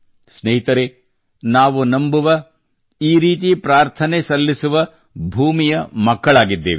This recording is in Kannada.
ಸ್ನೇಹಿತರೇ ನಾವು ನಂಬುವ ಈ ರೀತಿ ಪ್ರಾರ್ಥನೆ ಸಲ್ಲಿಸುವ ಭೂಮಿಯ ಮಕ್ಕಳಾಗಿದ್ದೇವೆ